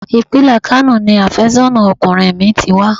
Ìpínlẹ̀ Kano ni àfẹ́sọ́nà ọkùnrin mi ti wá.